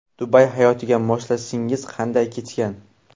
Dubay hayotiga moslashishingiz qanday kechgan?